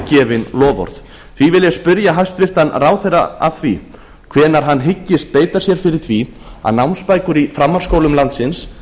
gefin loforð því vil ég spyrja hæstvirtan ráðherra að því hvenær hann hyggist beita sér fyrir því að námsbækur í framhaldsskólum landsins